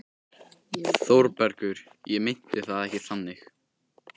ÞÓRBERGUR: Ég meinti það ekki þannig.